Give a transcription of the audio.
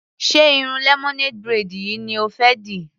Ṣé irun lemonade braid yìí ni o fẹ́ dì?